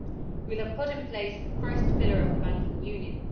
We will have put in place the first pillar of the banking union.